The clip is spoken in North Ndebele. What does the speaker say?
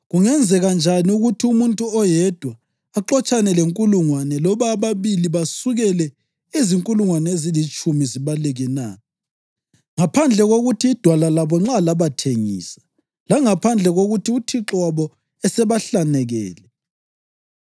Kungenzeka njani ukuthi umuntu oyedwa axotshane lenkulungwane, loba ababili basukele izinkulungwane ezilitshumi zibaleke na, ngaphandle kokuthi iDwala labo nxa labathengisa; langaphandle kokuthi uThixo wabo esebahlanekele?